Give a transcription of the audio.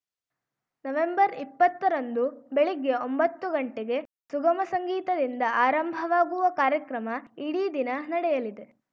ನವೆಂಬರ್ಇಪ್ಪತ್ತರಂದು ಬೆಳಗ್ಗೆ ಒಂಬತ್ತು ಗಂಟೆಗೆ ಸುಗಮ ಸಂಗೀತದಿಂದ ಆರಂಭವಾಗುವ ಕಾರ್ಯಕ್ರಮ ಇಡೀ ದಿನ ನಡೆಯಲಿದೆ